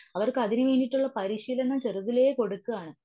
അവർക്ക് അതിന് വേണ്ടിയിട്ടുള്ള പരിശീലനം ചെറുതിലേ കൊടുക്കാണ്.